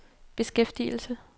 beskæftigelse